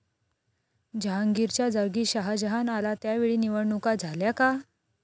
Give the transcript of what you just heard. जहांगीरच्या जागी शहाजहान आला त्यावेळी निवडणुका झाल्या का?